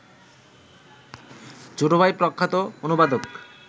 ছোট ভাই প্রখ্যাত অনুবাদক